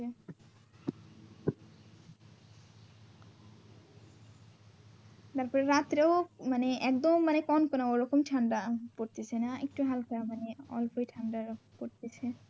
তারপর রাত্রেও মানে একদম মানে কন কনা ওরকম ঠান্ডা পড়তেছে না একটু হালকা মানে অল্পই ঠান্ডা এরকম পড়তেছে।